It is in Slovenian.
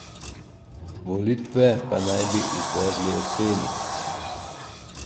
Volitve pa naj bi izvedli jeseni.